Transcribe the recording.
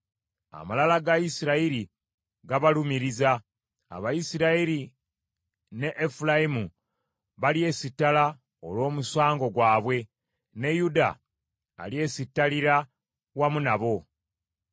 Amalala ga Isirayiri gabalumiriza; Abayisirayiri ne Efulayimu balyesittala olw’omusango gwabwe; ne Yuda alyesittalira wamu nabo.